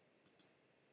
yn copenhagen